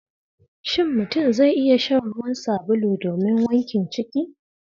Shin mutum zai iya shan ruwan sabulu domin wankin ciki?